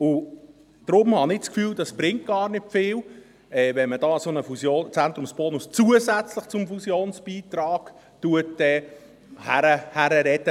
Deshalb habe ich das Gefühl, es bringe gar nicht viel, wenn man zusätzlich zum Fusionsbeitrag einen solchen Fusionszentrumsbonus herbeiredet.